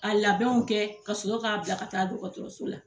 A labɛnw kɛ ka sɔrɔ k'a bila ka taa dɔgɔtɔrɔso la.